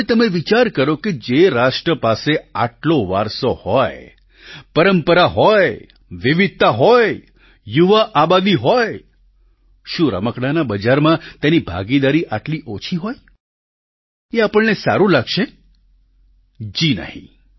હવે તમે વિચારો કે જે રાષ્ટ્ર પાસે આટલો વારસો હોય પરંપરા હોય વિવિધતા હોય યુવા આબાદી હોય શું રમકડાંના બજારમાં તેની ભાગીદારી આટલી ઓછી હોય એ આપણને સારું લાગશે જી નહીં